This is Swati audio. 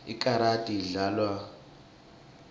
ikarati idlalwa bocwepheshe